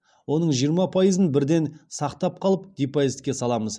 оның жиырма пайызын бірден сақтап қалып депозитке саламыз